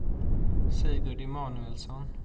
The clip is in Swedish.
Sigurd Emanuelsson